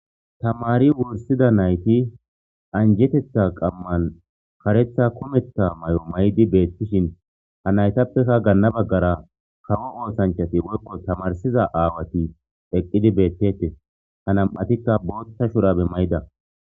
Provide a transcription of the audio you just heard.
Tamari wursida nayti anjetetha qaman karetha kumetha Mayoyi mayidi betishen ha naytappekka gana bagara kawo osanachati woyko tamarsiza aawati eqidi betetes ha nam'uatikka botha shurabe Mayida